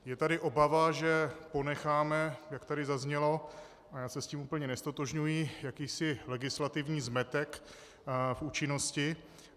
Je tady obava, že ponecháme, jak tady zaznělo, a já se s tím úplně neztotožňuji, jakýsi legislativní zmetek v účinnosti.